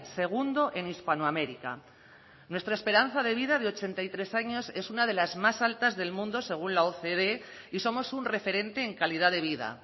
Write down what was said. segundo en hispanoamérica nuestra esperanza de vida de ochenta y tres años es una de las más altas del mundo según la ocd y somos un referente en calidad de vida